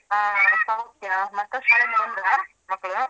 ಹ ಸೌಖ್ಯ ಮಕ್ಕಳು ಶಾಲೆ ಇಂದ ಬಂದ್ರ ಮಕ್ಕಳು?